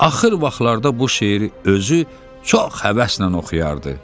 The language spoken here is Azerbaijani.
Axır vaxtlarda bu şeiri özü çox həvəslə oxuyardı.